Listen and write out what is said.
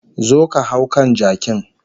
Zo ka hau kan jakin